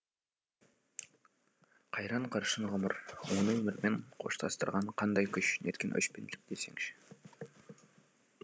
қайран қыршын ғұмыр оны өмірмен қоштастырған қандай күш неткен өшпенділік десеңші